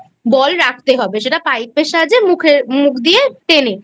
Bill রাখতে হবে সেটা Pipe এর সাহায্যে মুখে মুখ দিয়ে টেনে।